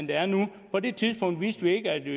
der er nu på det tidspunkt vidste vi ikke at vi